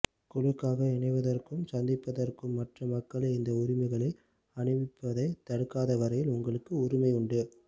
குழுக்களாக இணைவதற்கும் சந்திப்பதற்கும் மற்ற மக்களை இந்த உரிமைகளை அனுபவிப்பதை தடுக்காதவரையில் உங்களுக்கு உரிமையுண்டு